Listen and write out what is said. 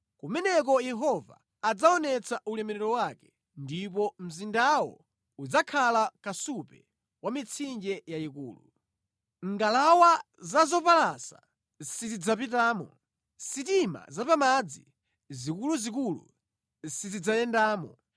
Kumeneko Yehova adzaonetsa ulemerero wake ndipo mzindawo udzakhala kasupe wa mitsinje yayikulu. Ngalawa za zopalasa sizidzapitamo, sitima zapamadzi zikuluzikulu sizidzayendamo.